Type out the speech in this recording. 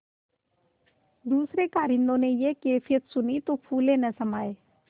दूसरें कारिंदों ने यह कैफियत सुनी तो फूले न समाये